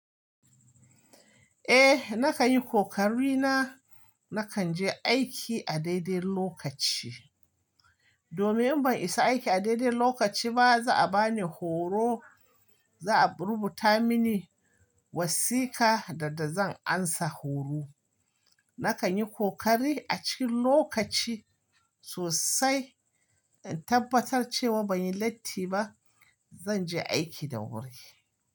Eh, na kan yi kokari na. Na kan je aiki a daidai lokaci. Domin in ban isa aiki a daidai lokaci ba, za a bani horo, za a rubuta mini wasiƙa da da zan amsa horo. Na kan yi kokari a cikin lokaci sosai, in tabbatar cewa ban yi latti ba, zan je aiki da wuri.